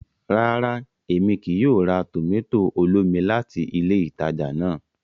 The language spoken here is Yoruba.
Ràrá, Èmí kìí yóò rà tomato olómi láti ilé ìtàjà náà